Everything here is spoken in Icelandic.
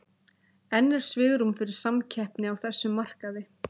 En er svigrúm fyrir samkeppni á þessum markaði?